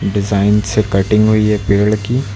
Design से cutting हुई है पेड़ की।